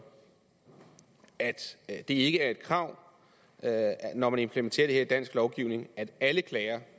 at det ikke er et krav når man implementerer det her i dansk lovgivning at alle klager